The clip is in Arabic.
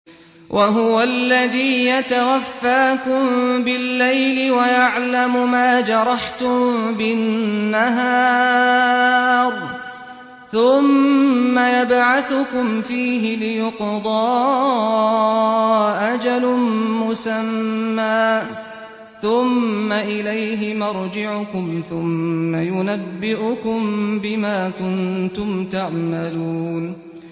وَهُوَ الَّذِي يَتَوَفَّاكُم بِاللَّيْلِ وَيَعْلَمُ مَا جَرَحْتُم بِالنَّهَارِ ثُمَّ يَبْعَثُكُمْ فِيهِ لِيُقْضَىٰ أَجَلٌ مُّسَمًّى ۖ ثُمَّ إِلَيْهِ مَرْجِعُكُمْ ثُمَّ يُنَبِّئُكُم بِمَا كُنتُمْ تَعْمَلُونَ